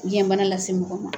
Biyɛnbana lase mɔgɔ ma.